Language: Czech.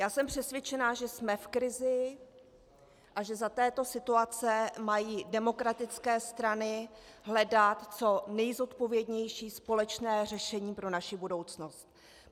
Já jsem přesvědčená, že jsme v krizi a že za této situace mají demokratické strany hledat co nejzodpovědnější společné řešení pro naši budoucnost.